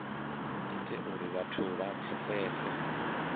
ite uri vhathu vha pfesese